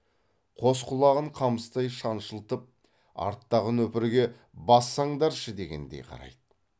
қос құлағын қамыстай шаншылтып арттағы нөпірге бассаңдаршы дегендей қарайды